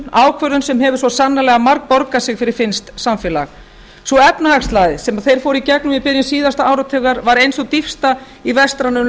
ákvörðun sem hefur svo sannarlega margborgað sig fyrir finnskt samfélag sú efnahagslægð sem þeir fóru í gegnum í byrjun síðasta áratugar var ein sú dýpsta í vestrænum